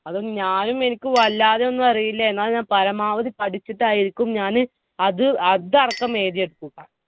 അത് ഞാനും എനിക്കും വല്ലാതൊന്നും അറിയില്ല. എന്നാലും ഞാൻ പരമാവധി പഠിച്ചിട്ടായിരിക്കും ഞാൻ അത് അതടക്കം എഴുതിയെടുക്കും.